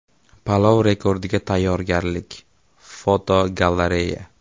Palov rekordiga tayyorgarlik (fotogalereya).